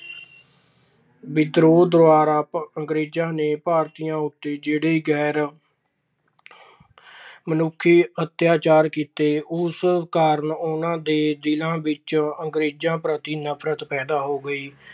ਵਿਦਰੋਹ ਦੌਰਾਨ ਅੰਗਰੇਜਾਂ ਨੇ ਭਾਰਤੀਆਂ ਉਤੇ ਜਿਹੜੇ ਗੈਰ ਅਤਿਆਚਾਰ ਕੀਤੇ, ਉਸ ਕਾਰਨ ਉਹਨਾਂ ਦੇ ਦਿਲਾਂ ਵਿੱਚ ਅੰਗਰੇਜਾਂ ਪ੍ਰਤੀ ਨਫਰਤ ਪੈਦਾ ਹੋ ਗਈ।